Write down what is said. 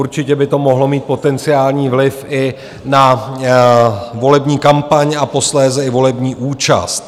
Určitě by to mohlo mít potenciální vliv i na volební kampaň a posléze i volební účast.